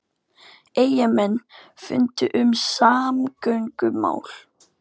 Eyjamenn funda um samgöngumál